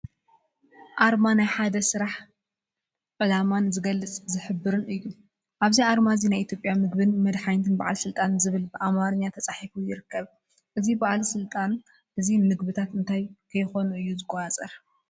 ኣርማ ናይ ሓደ ስራሕ፣ ዕላማን ዝገልፅን ዝሕብርን እዩ፡፡ ኣብዚ ኣርማ እዚ ናይ ኢትዮጵያ ምግብን መድሓኒትን በዓል ስልጣን ዝብል ብኣማርኛ ተፃሒፉ ይርከብ፡፡ እዚ ባለስልጣን እዚ ምግብታት እንታይ ከይኾኑ እዩ ዝቆፃፀር?